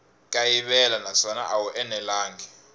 kayivela naswona a wu enelangi